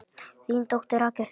Þín dóttir, Rakel Hrund.